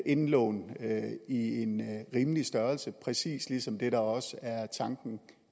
indlån af en rimelig størrelse præcis som det også er tanken